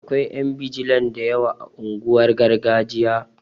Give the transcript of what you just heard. Akwai ƴan bijilan da yawa a unguwar gargajiya